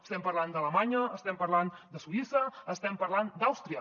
estem parlant d’alemanya estem parlant de suïssa estem parlant d’àustria